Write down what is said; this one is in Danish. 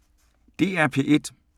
DR P1